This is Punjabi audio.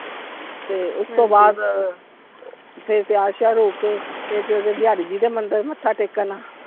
ਤੇ ਉਸਤੋਂ ਬਾਅਦ, ਫਿਰ ਤਿਆਰ ਸ਼ਿਆਰ ਹੋ ਕੇ, ਫਿਰ ਚਲਗੇ ਬਿਹਾਰੀ ਜੀ ਦੇ ਮੰਦਿਰ ਮੱਥਾ ਟੇਕਣ।